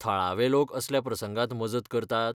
थळावे लोक असल्या प्रसंगांत मजत करतात?